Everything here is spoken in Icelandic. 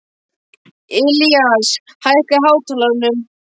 Ilías, hækkaðu í hátalaranum.